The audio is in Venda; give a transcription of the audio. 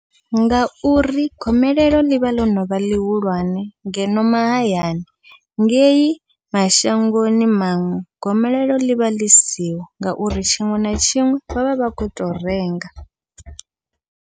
Ngauri gomelelo ḽivha ḽo novha ḽihulwane ngeno mahayani, ngei mashangoni maṅwe gomelelo ḽivha ḽisiho ngauri tshiṅwe na tshiṅwe vha vha vha khou to renga.